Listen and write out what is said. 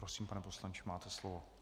Prosím, pane poslanče, máte slovo.